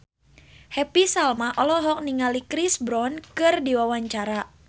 Happy Salma olohok ningali Chris Brown keur diwawancara